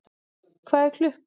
Hvað er klukkan?